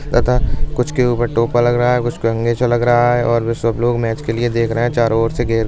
तथा कुछ के ऊपर टोपा लग रहा हैं कुछ के ऊपर लग रहा है। सब लोग मैच के लिए देख रहे हैं चारो ओर से घेर --